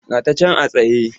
Ga ta can a tsaye.